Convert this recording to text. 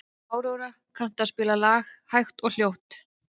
Aurora, kanntu að spila lagið „Hægt og hljótt“?